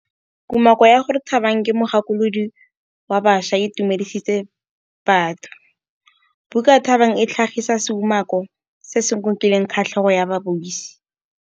Kumakô ya gore Thabang ke mogakolodi wa baša e itumedisitse batho. Buka ya Thabang e tlhagitse seumakô se se ngokileng kgatlhegô ya babuisi.